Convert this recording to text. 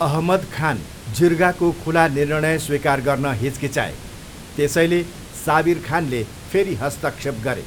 अहमद खान जिर्गाको खुला निर्णय स्वीकार गर्न हिचकिचाए, त्यसैले साबिर खानले फेरि हस्तक्षेप गरे।